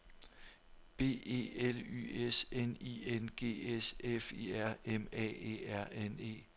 B E L Y S N I N G S F I R M A E R N E